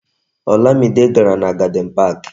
Olamide gàrà na Garden Park